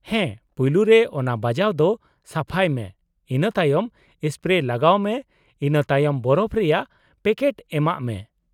-ᱦᱮᱸ, ᱯᱩᱭᱞᱩ ᱨᱮ ᱚᱱᱟ ᱵᱟᱡᱟᱣ ᱫᱚ ᱥᱟᱯᱷᱟᱭ ᱢᱮ, ᱤᱱᱟᱹ ᱛᱟᱭᱚᱢ ᱥᱯᱨᱮ ᱞᱟᱜᱟᱣ ᱢᱮ ᱤᱱᱟᱹ ᱛᱟᱭᱚᱢ ᱵᱚᱨᱚᱯᱷᱚ ᱨᱮᱭᱟᱜ ᱯᱮᱠᱴ ᱮᱢᱟᱜ ᱢᱮ ᱾